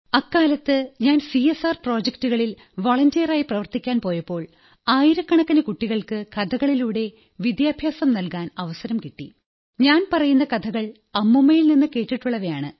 അക്കാലത്ത് ഞാൻ സിഎസ്ആർ പ്രോജക്ടുകളിൽ വളണ്ടിയറായി പ്രവർത്തിക്കാൻ പോയപ്പോൾ ആയിരക്കണക്കിന് കുട്ടികൾക്ക് കഥകളിലൂടെ വിദ്യഭ്യാസം നല്കാൻ അവസരം കിട്ടി ഞാൻ പറയുന്ന കഥകൾ അമ്മൂമ്മയിൽ നിന്നു കേട്ടിട്ടുള്ളവയാണ്